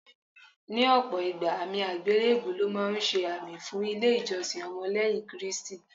Ní ọ̀pọ̀ ìgbà, àmì àgbélébùú lọ́ máa ń ṣe àmì fún ilé ìjọsìn ọmọ lẹ́yìn Kristi.